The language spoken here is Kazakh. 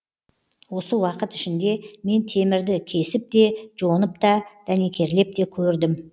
осы уақыт ішінде мен темірді кесіп те жонып та дәнекерлеп те көрдім